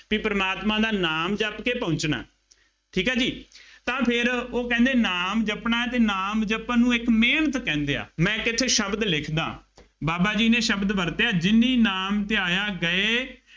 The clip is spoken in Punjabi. ਬਈ ਪ੍ਰਮਾਤਮਾ ਦਾ ਨਾਮ ਜਪ ਕੇ ਪਹੁੰਚਣਾ। ਠੀਕ ਹੈ ਜੀ, ਤਾਂ ਫੇਰ ਉਹ ਕਹਿੰਦੇ ਨਾਮ ਜਪਣਾ ਹੈ ਅਤੇ ਨਾਮ ਜਪਣ ਨੂੰ ਇੱਕ ਮਿਹਨਤ ਕਹਿੰਦੇ ਹੈ, ਮੈਂ ਇੱਕ ਇੱਥੇ ਸ਼ਬਦ ਲਿਖਦਾ, ਬਾਬਾ ਜੀ ਨੇ ਸ਼ਬਦ ਵਰਤਿਆ ਜਿਨੀ ਨਾਮੁ ਧਿਆਇਆ ਗਏ ਮਸਕਤਿ ਘਾਲਿ ॥ ਨਾਨਕ ਤੇ ਮੁਖ ਉਜਲੇ ਕੇਤੀ ਛੁਟੀ ਨਾਲਿ ॥